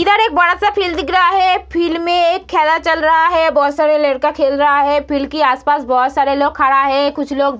इधर एक बड़ा-सा फील्ड दिख रहा है फील्ड में एक खेला चल रहा है बहुत सारे लड़का खेल रहा है फील्ड के आस-पास बहुत सारा लोग खड़ा है कुछ लोग --